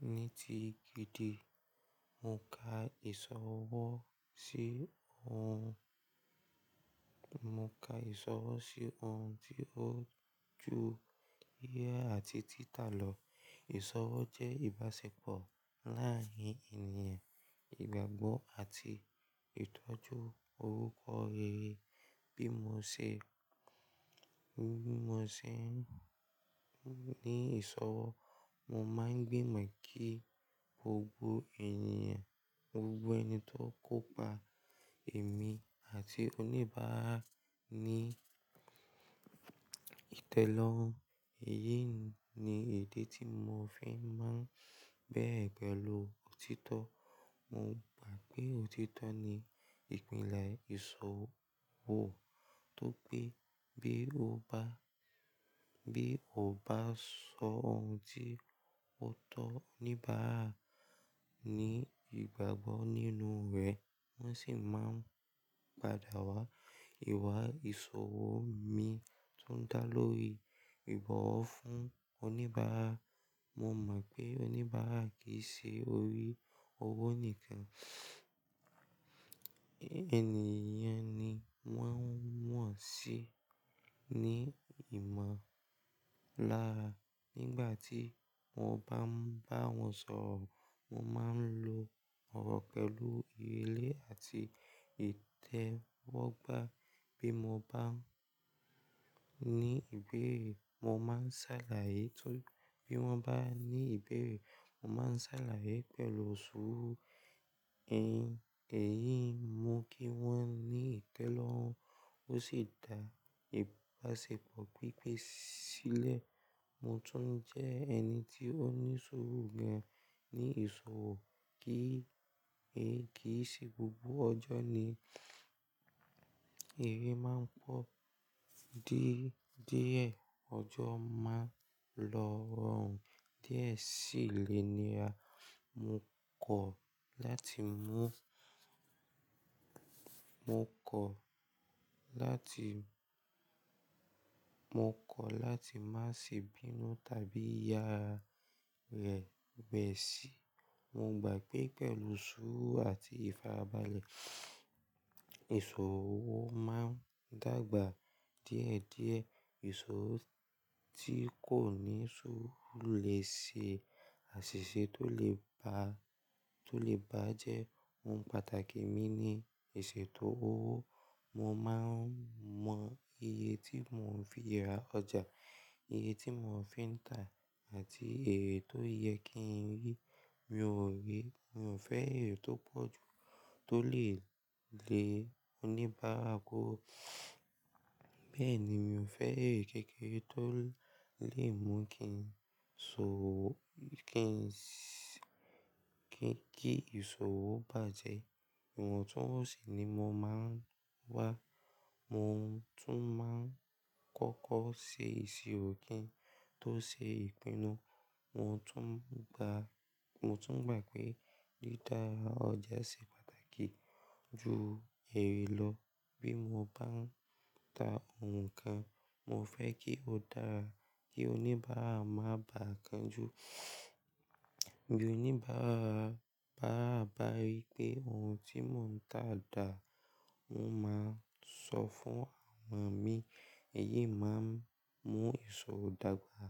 Ní ti gidi, mo ka ìsọwọ́ sí ohun, mo ka ìsọwọ́ sí ohun tí ó ju ìhà àti títà lọ. Ìsọwọ́ jẹ́ ìbáṣepọ̀ láàárín ènìyàn, ìgbàgbọ́ àti ìtọ́jú orúkọ rere. Bí mo ṣe, bí mo ṣe ń ní ìsọwọ́, mo máa ń gbìmọ̀ kí gbogbo ènìyàn, gbogbo ẹni tó kópa, èmi àti oníbàárà ní ìtẹ́lọ́rùn. Èyí ni èdè tí mo fi máa ń bẹrẹ pẹ̀lú òtítọ́. Mo gbà pé òtítọ́ ni ìpínlẹ̀ ìṣòwò tóri pé bí ó bá, bí ó bá sọ ohun tí ó tọ́ oníbàárà ní ìgbàgbọ́ nínú rẹ̀, wọ́n sì máa ń padà wá ìwà ìṣòwò mi tún dá lórí ìbọ̀wọ̀ fún oníbàárà. Mo mọ̀ pé oníbàárà kì í ṣe orí owó nìkan, ènìyàn ni wọ́n ń wọ̀n sí ní ìmọ̀lára. Nígbà tí mo bá ń bá wọn sọ̀rọ̀, mo máa ń lo ọ̀rọ̀ pẹ̀lú ìrèlè àti ìtẹ́wọ́gbà. Bí mo bá ní ìbéèrè, mo máa ń ṣàlàyé tó bí wọ́n bá ní ìbéèrè, mo máa ń ṣàlàyé pẹ̀lú sùúrù. Ẹ̀yin, èyí mú kí wọ́n ní ìtẹ́lọ́rùn ó sì dá ìbáṣepọ̀ pípé sílẹ̀. Mo tún jẹ́ ẹni tí ó ní sùúrù gan ní ìṣòwò kí, èyí kì í ṣe gbogbo ọjọ́ ni ère máa ń pọ̀. Díẹ̀, díẹ̀ ọjọ́ máa ń lọ́rùn. Díẹ̀ sílé ni ra, mo kọ̀ láti mú, mo kọ̀ láti, mo kọ̀ láti má ṣe bínú tàbí ya rẹ̀ bẹ̀ sí. Mo gbà pé pẹ̀lú sùúrù àti ìfarabalẹ̀, ìṣòwò máa ń dàgbà díẹ̀ díẹ̀. Ìṣòwò tí kò ní sùúrù lè ṣe àṣìṣe tó lè ba, tó lè bá jẹ́ ohun pàtàkì mi ní iṣeto owó. Mo máa ń mọ iye tí mò ń fi ra ọjà, iye tí mò ń fi ń ta àti èrè tó yẹ kí n rí. Mi ò rí, mi ò fẹ́ èrè tó pọ̀ jù tó lè lé oníbàárà kúrò. Bẹ́ẹ̀ ni, mi ò fẹ́ èrè kékeré tó lè mú kí n ṣòwò, kí n, kí ìṣòwò bàjẹ́. Ìwọntúnwọ̀nsì ni mo máa ń wá. Mo tún máa ń kọ́kọ́ ṣe ìṣirò kí n tó ṣe ìpinnu. Mo tún gbà, mo tún gbà pé lída ara ọjà ṣe pàtàkì ju ère lọ. Bí mo bá ń ta ohun kan, mo fẹ́ kí ó dára kí oníbàárà má bá a kan jú. Bí oníbàárà bá rí pé ohun tí mò ń tà dà, wọn máa sọ fún àwọn mi. Èyí máa ń mú ìṣòwò dàgbà